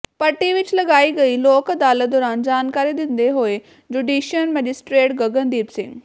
ਪੱਟੀ ਵਿੱਚ ਲਗਾਈ ਗਈ ਲੋਕ ਅਦਾਲਤ ਦੌਰਾਨ ਜਾਣਕਾਰੀ ਦਿੰਦੇ ਹੋਏ ਜੁਡੀਸ਼ਲ ਮੈਜਿਸਟਰੇਟ ਗਗਨਦੀਪ ਸਿੰਘ